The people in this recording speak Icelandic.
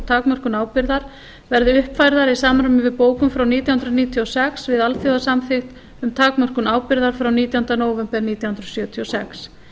takmörkun ábyrgðar verði uppfærðar í samræmi við bókun frá nítján hundruð níutíu og sex við alþjóðasamþykkt um takmörkun ábyrgðar frá nítjánda nóvember nítján hundruð sjötíu og sex